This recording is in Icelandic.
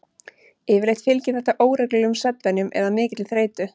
Yfirleitt fylgir þetta óreglulegum svefnvenjum eða mikilli þreytu.